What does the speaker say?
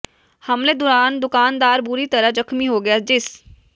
ਹਮਲੇ ਦੌਰਾਨ ਦੁਕਾਨਦਾਰ ਬੁਰੀ ਤਰ੍ਹਾਂ ਜ਼ਖ਼ਮੀ ਹੋ ਗਿਆ ਜਿਸ